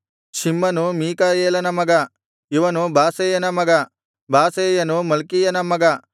ಶಿಮ್ಮನು ಮೀಕಾಯೇಲನ ಮಗ ಇವನು ಬಾಸೇಯನ ಮಗ ಬಾಸೇಯನು ಮಲ್ಕೀಯನ ಮಗ